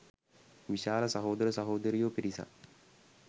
විශාල සහෝදර සහෝදරියෝ පිරිසක්